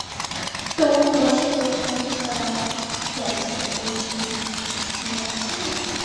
кто больше всего смотрит канал пятница эйчди из вашей семьи